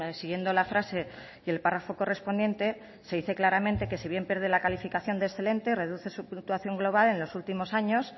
siguiendo la frase y el párrafo correspondiente se dice claramente que si bien pierde la calificación de excelente reduce su fluctuación global en los últimos años